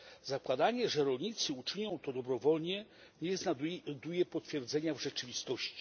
Zakładanie, że rolnicy uczynią to dobrowolnie, nie znajduje potwierdzenia w rzeczywistości.